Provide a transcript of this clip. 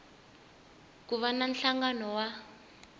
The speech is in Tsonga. ku va na nhlangano wa